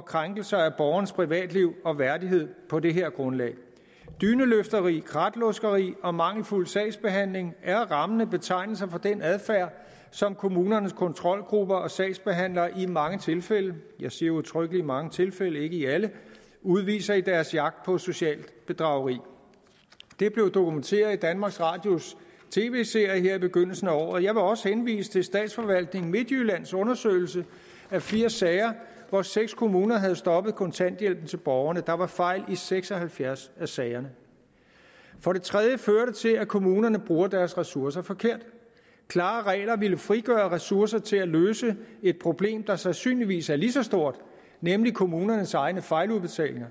krænkelse af borgernes privatliv og værdighed på det her grundlag dyneløfteri kratluskeri og mangelfuld sagsbehandling er rammende betegnelser for den adfærd som kommunernes kontrolgrupper og sagsbehandlere i mange tilfælde jeg siger udtrykkeligt i mange tilfælde ikke i alle udviser i deres jagt på socialt bedrageri det blev dokumenteret i danmarks radios tv serie her i begyndelsen af året jeg vil også henvise til statsforvaltningen midtjyllands undersøgelse af firs sager hvor seks kommuner havde stoppet kontanthjælpen til borgerne der var fejl i seks og halvfjerds af sagerne for det tredje fører det til at kommunerne bruger deres ressourcer forkert klare regler ville frigøre ressourcer til at løse et problem der sandsynligvis er lige så stort nemlig kommunernes egne fejludbetalinger